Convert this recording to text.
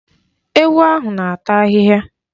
Ewu ahụ na-ata ahịhịa.